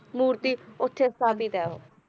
ਮੂਰਤੀ ਉੱਥੇ ਸਥਾਪਿਤ ਹੈ ਉਹ ਹਾਂ ਜੀ,